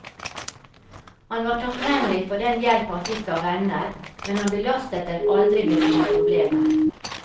Han var takknemlig for den hjelp han fikk av venner, men han belastet dem aldri med sine problemer.